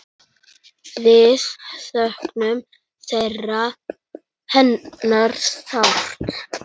Við söknum hennar sárt.